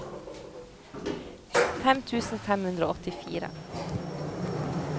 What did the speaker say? fem tusen fem hundre og åttifire